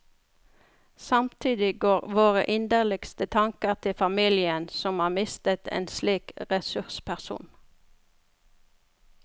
Samtidig går våre inderligste tanker til familien som har mistet en slik ressursperson.